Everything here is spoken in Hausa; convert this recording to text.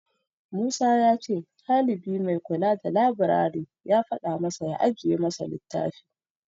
Musa ya ce ɗalibi mai kula da labirari ya faɗa masa ya ajiye masa littafi.